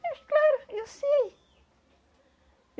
Mas claro, eu sei.